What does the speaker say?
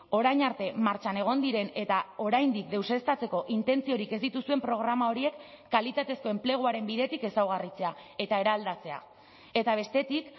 orain arte martxan egon diren eta oraindik deuseztatzeko intentziorik ez dituzuen programa horiek kalitatezko enpleguaren bidetik ezaugarritzea eta eraldatzea eta bestetik